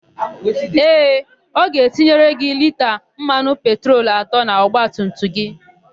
Ee, ọ ga-etinyere gị lita mmanụ petrol atọ n'ọgbatumtum gị.